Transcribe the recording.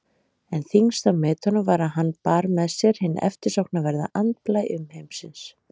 En þyngst á metunum var að hann bar með sér hinn eftirsóknarverða andblæ umheimsins.